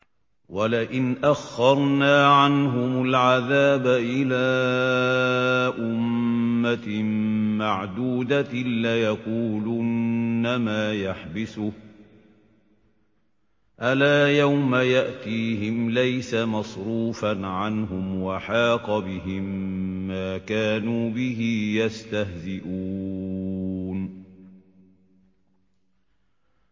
وَلَئِنْ أَخَّرْنَا عَنْهُمُ الْعَذَابَ إِلَىٰ أُمَّةٍ مَّعْدُودَةٍ لَّيَقُولُنَّ مَا يَحْبِسُهُ ۗ أَلَا يَوْمَ يَأْتِيهِمْ لَيْسَ مَصْرُوفًا عَنْهُمْ وَحَاقَ بِهِم مَّا كَانُوا بِهِ يَسْتَهْزِئُونَ